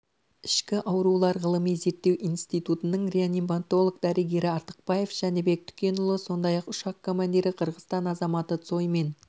ішкі аурулар ғылыми-зерттеу институтының реаниматолог-дәрігері артықбаев жәнібек түкенұлы сондай-ақ ұшақ командирі қырғызстан азаматы цой мен